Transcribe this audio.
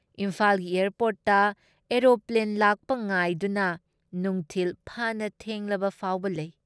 ꯏꯝꯐꯥꯜꯒꯤ ꯑꯦꯌꯥꯔꯄꯣꯔꯠꯇ ꯑꯔꯣꯄ꯭ꯂꯦꯟ ꯂꯥꯛꯄ ꯉꯥꯏꯗꯨꯅ ꯅꯨꯡꯈꯤꯜ ꯐꯅ ꯊꯦꯡꯂꯕꯐꯥꯎꯕ ꯂꯩ ꯫